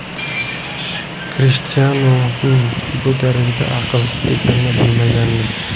Krishtianuning bu darajada aqlsiz ekanini bilmagandim.